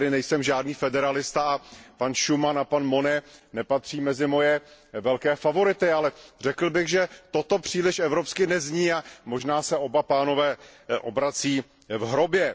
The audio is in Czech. Já tedy nejsem žádný federalista a pan Schuman a pan Monnet nepatří mezi moje velké favority, ale řekl bych, že toto příliš evropsky nezní a možná se oba pánové obrací v hrobě.